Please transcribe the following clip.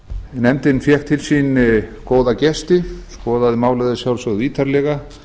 nefndin fékk til sín góða gesti skoðaði málið að sjálfsögðu ítarlega